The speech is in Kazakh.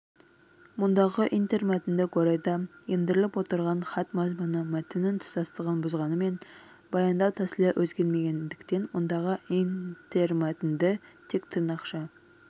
мұндағы интермәтіндік орайда ендіріліп отырған хат мазмұны мәтіннің тұтастығын бұзғанымен баяндау тәсілі өзгермегендіктен мұндағы интермәтінді тек тырнақша